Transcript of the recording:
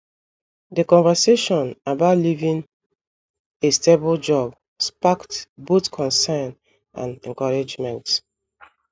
The conversation about leaving a stable job sparked both concern and encouragement.